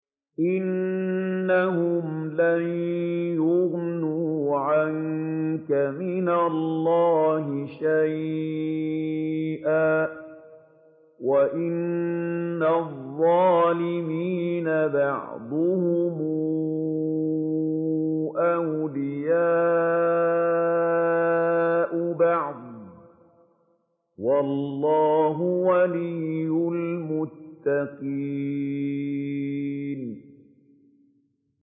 إِنَّهُمْ لَن يُغْنُوا عَنكَ مِنَ اللَّهِ شَيْئًا ۚ وَإِنَّ الظَّالِمِينَ بَعْضُهُمْ أَوْلِيَاءُ بَعْضٍ ۖ وَاللَّهُ وَلِيُّ الْمُتَّقِينَ